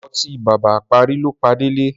Ọtí bàbá apárí ló pa Délé.